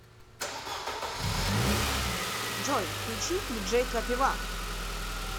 джой включи диджей крапива